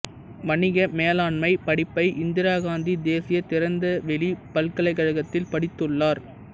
வணிக மேலாண்மை படிப்பை இந்திராகாந்தி தேசிய திறந்தவெளிப் பல்கலைக்கழகத்தில் படித்துள்ளார்